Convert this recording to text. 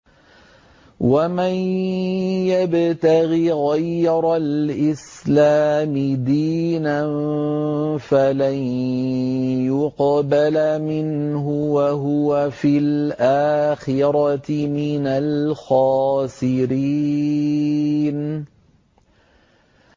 وَمَن يَبْتَغِ غَيْرَ الْإِسْلَامِ دِينًا فَلَن يُقْبَلَ مِنْهُ وَهُوَ فِي الْآخِرَةِ مِنَ الْخَاسِرِينَ